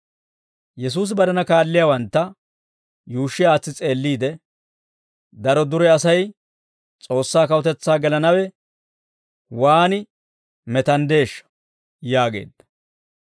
Yesuusi barena kaalliyaawantta yuushshi aatsi s'eelliide, «Daro dure Asay S'oossaa kawutetsaa gelanaw waan metanddeeshsha!» yaageedda.